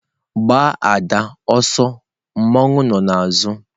Gbaa ada ọsọ mmawu nọ n'azụ!.